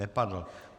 Nepadl.